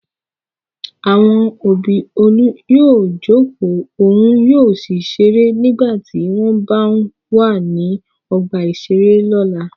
Àwọn òbí Olú yóò jókòó òun yóò sì ṣeré nígbà tí wọ́n b wà ní ọgbà-ìṣeré lọ́la.